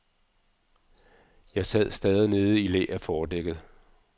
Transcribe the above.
Jeg sad stadig nede i læ af fordækket.